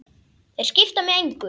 Þeir skipta mig engu.